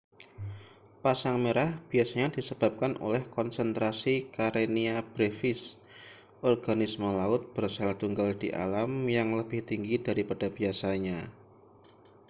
pasang merah biasanya disebabkan oleh konsentrasi karenia brevis organisme laut bersel tunggal di alam yang lebih tinggi daripada biasanya